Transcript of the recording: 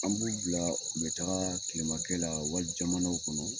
An b'u bila u bɛ taa kilemakɛ la wali jamanaw kɔnɔ